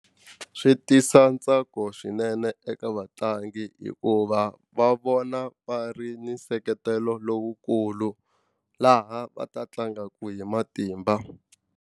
Swi tisa ntsako swinene eka vatlangi hikuva va vona va ri na nseketelo lowukulu laha va ta tlangaka hi matimba.